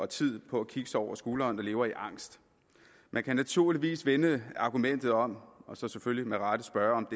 tid på at kigge sig over skulderen fordi de lever i angst man kan naturligvis vende argumentet om og selvfølgelig med rette spørge om